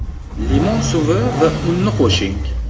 Limon suvi va unni qo‘shing.